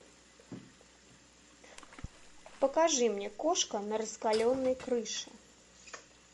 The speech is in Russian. покажи мне кошка на раскаленной крыше